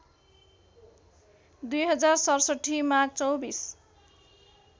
२०६७ माघ २४